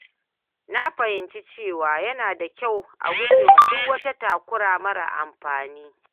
Na fahimci cewa yana da kyau a gujewa duk wata takura marar amfani.